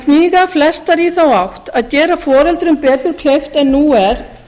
hníga flestar í þá átt að gera foreldrum betur kleift en nú er